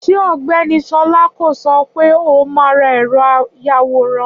Ṣé Ògbẹ́ni Ṣọlá kò sọ wípé òun máa ra ẹ̀rọ àyawòran?